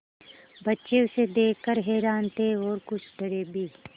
बच्चे उसे देख कर हैरान थे और कुछ डरे भी